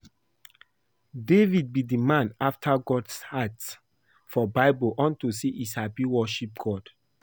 David be the man after God's heart for bible unto say he sabi worship God